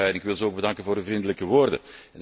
Ik wil hen ook bedanken voor de vriendelijke woorden.